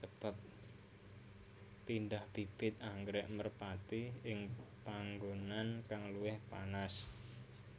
Pindah bibit anggrèk merpati ing panggonan kang luwih panas